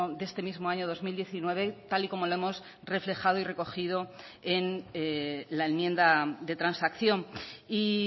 de este mismo año dos mil diecinueve tal y como lo hemos reflejado y recogido en la enmienda de transacción y